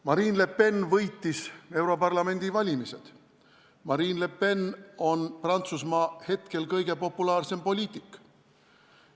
Marine Le Pen võitis europarlamendi valimised, Marine Le Pen on hetkel Prantsusmaa kõige populaarsem poliitik.